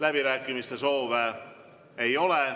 Läbirääkimiste soovi ei ole.